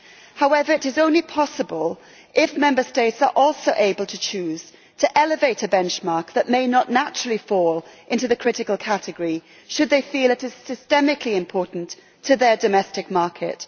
However, it is only possible if Member States are also able to choose to elevate a benchmark that may not naturally fall into the critical category, should they feel it is systemically important to their domestic market